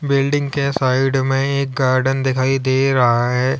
Building के side में एक गार्डन दिखाई दे रहा है।